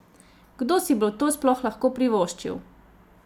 Kdo si bo to sploh lahko privoščil?